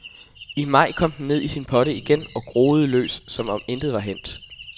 I maj kom den ned i sin potte igen og groede løs, som om intet var hændt.